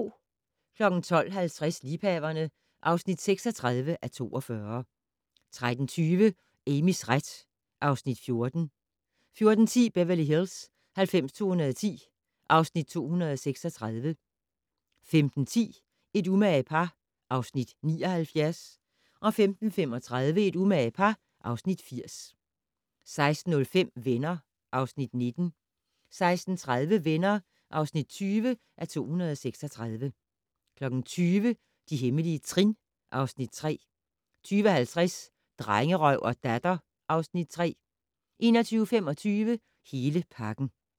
12:50: Liebhaverne (36:42) 13:20: Amys ret (Afs. 14) 14:10: Beverly Hills 90210 (Afs. 236) 15:10: Et umage par (Afs. 79) 15:35: Et umage par (Afs. 80) 16:05: Venner (Afs. 19) 16:30: Venner (20:236) 20:00: De hemmelige trin (Afs. 3) 20:50: Drengerøv og Datter (Afs. 3) 21:25: Hele pakken